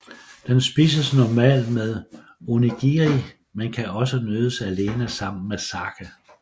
Den spises normalt med onigiri men kan også nydes alene sammen med sake